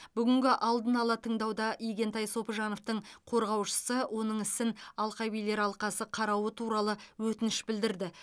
бүгінгі алдын ала тыңдауда игентай сопыжановтың қорғаушысы оның ісін алқабилер алқасы қарауы туралы өтініш білдірді